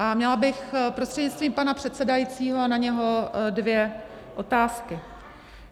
A měla bych prostřednictvím pana předsedajícího na něj dvě otázky.